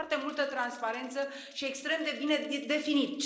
Foarte multă transparență și extrem de bine definit.